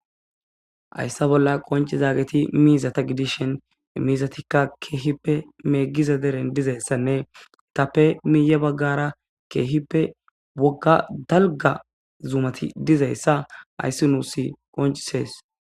Hyssa bolla qonci zaageti miizata gidishen miizatikka keehippe meeggiza deren dizayssanne itappe miiye baggara keehippe wogga dalga zumati dizayssa hayssi nuus qoncisees.